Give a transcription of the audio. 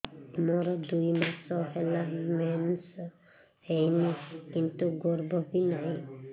ମୋର ଦୁଇ ମାସ ହେଲା ମେନ୍ସ ହେଇନି କିନ୍ତୁ ଗର୍ଭ ବି ନାହିଁ